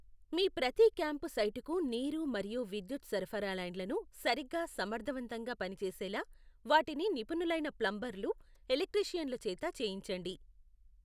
మీ ప్రతి క్యాంపు సైటుకు నీరు మరియు విద్యుత్ సరఫరా లైన్లను సరిగ్గా సమర్థతవంతంగా పని చేసేలా వాటిని నిపుణులైన ప్లంబర్లు, ఎలక్ట్రీషియన్లు చేత చేయించండి.